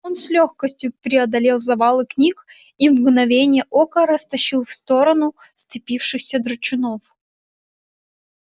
он с лёгкостью преодолел завалы книг и в мгновение ока растащил в сторону сцепившихся драчунов